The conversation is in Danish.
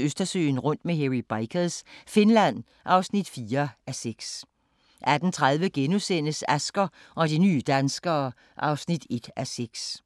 Østersøen rundt med Hairy Bikers – Finland (4:6) 18:30: Asger og de nye danskere (1:6)*